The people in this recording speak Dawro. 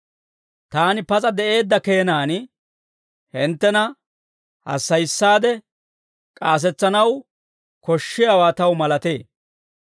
Taani pas'a de'eedda keenan, hinttena hassayissaade k'aasetsanaw koshshiyaawaa taw malatee.